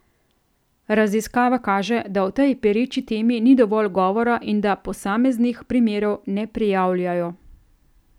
Raziskava kaže, da o tej pereči temi ni dovolj govora in da posameznih primerov ne prijavljajo.